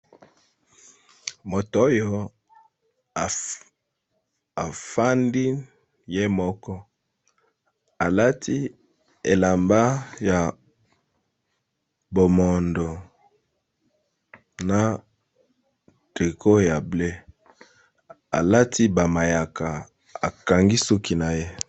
Moto oyo afandi ye moko, alati elamba ya bomondo na trico ya bleu, alati ba mayaka akangi suki na ye.